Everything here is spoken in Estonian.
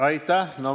Aitäh!